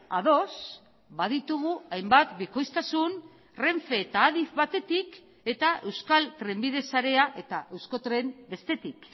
ados baditugu hainbat bikoiztasun renfe eta adif batetik eta euskal trenbide sarea eta euskotren bestetik